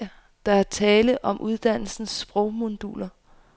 Der er tale om uddannelsens sprogmoduler.